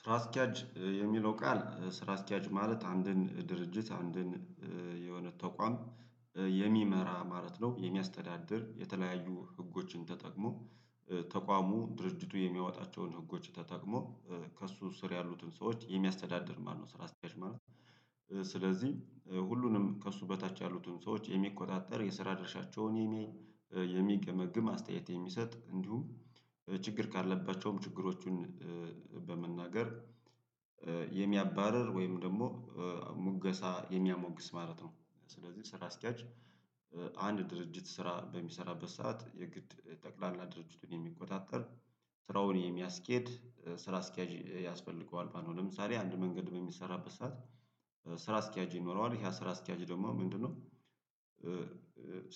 ስራ አስኪያጅ የሚለው ቃል ስራ አስኪያጅ ማለት አንድን ድርጅት አንድን የሆነ ተቋም የሚመራ ማለት ነው የሚያስተዳድር የተለያዩ ህጎችን ተጠቅሞ ተቋሙ ድርጅቱ የሚያወጣቸውን ህጎች ተጠቅሞ ከእሱ ስር ያሉትን ሰዎች የሚያስተዳድር ማለት ነው። ስራ አስኪያጅ ማለት ስለዚህ ሁሉንም ከእሱ በታች ያሉትን ሰዎች የሚቆጣጠር የስራ ድርሻቸውን የሚያይ የሚገመግም አስተያየት የሚሰጥ እንዲሁም ችግር ካለባቸውም ችግሮቹን በመናገር የሚያባርር ወይም ደግሞ ሙገሳ የሚያሞግስ ማለት ነው። ስለዚህ ስራ አስኪያጅ አንድ ድርጅት ስራ በሚሰራበት ሰዓት የግድ ጠቅላላ ድርጅቱን የሚቆጣጠር ስራውን የሚያስኬድ ስራ አስኪያጅ ያስፈልገዋል ማለት ነው። ለምሳሌ አንድ መንገድ በሚሰራበት ሰዓት ስራ አስኪያጅ ይኖረዋል ይሄ ስራ አስኪያጅ ደግሞ ምንድነው?